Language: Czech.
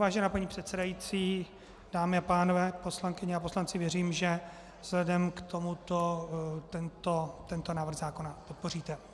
Vážená paní předsedající, dámy a pánové, poslankyně a poslanci, věřím, že vzhledem k tomuto tento návrh zákona podpoříte.